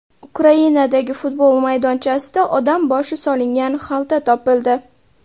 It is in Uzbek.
Ukrainadagi futbol maydonchasida odam boshi solingan xalta topildi.